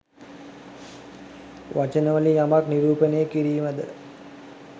වචන වලින් යමක් නිරූපණය කිරීමද?